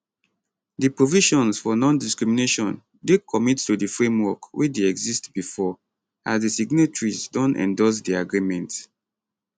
di provisions for nondiscrimination dey commit to di framework wey dey exist bifor as di signatories don endorse di agreement